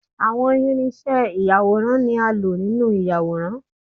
Àwọn irinṣẹ́ ìyàwòrán ni a lò nínú ìyàwòrán